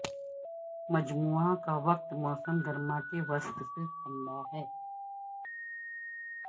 مجموعہ کا وقت موسم گرما کے وسط سے ٹھنڈا ہے